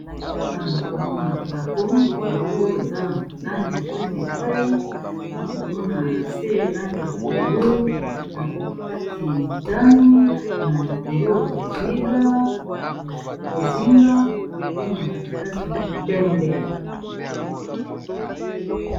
Awa nakomona drapeau eza na langi epai na epai na komona na se langi ya pondu na katikati motani na likolo bozinga bongo na katikati pembe.